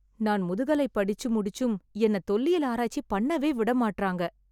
நான் முதுகலை படிச்சு முடிச்சும் என்ன தொல்லியல் ஆராய்ச்சி பண்ணவே விட மாட்றாங்க.